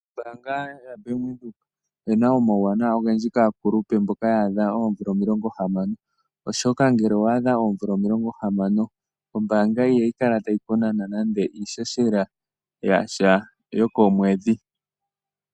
Ombaanga ya Bank Widhoek oyina omauwanawa ogendji kaakulupe mboka ya adha oomvula omilongo hamano. Oshoka ngele owa adha oomvula omilongo hamano, ombaanga ihayi kala tayi ku nana nande iihohela yasha yokomwedhi.